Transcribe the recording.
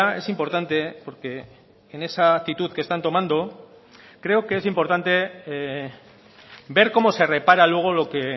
es importante porque en esa actitud que están tomando creo que es importante ver cómo se repara luego lo que